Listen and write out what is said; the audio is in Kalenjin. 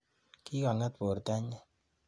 Kikong'eet bortanyi.